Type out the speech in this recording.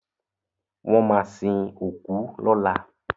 Wọ́n máa sin òkú lọ́la.